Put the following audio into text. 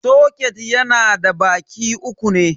Soket yana da baki uku ne.